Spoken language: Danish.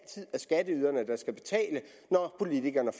skatteyderne der skal betale når politikerne